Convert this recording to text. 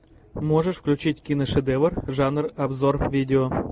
можешь включить киношедевр жанр обзор видео